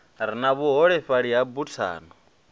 re na vhuholefhali ya buthano